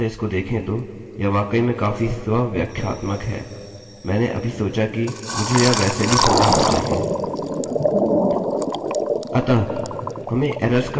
किन्तु हाँ उचित तरह से इसको देखें तो यह वाकई में काफी स्वव्याख्यात्मक है मैंने अभी सोचा कि मुझे यह वैसे भी समझाना चाहिए